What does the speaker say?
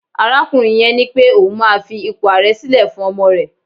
arakunrin yen nipé oun ma fi ipo aare sile fún ọmọ rẹ